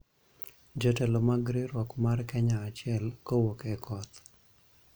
Jotelo mag Riwruok mar Kenya Achiel, Kowuok e Koth;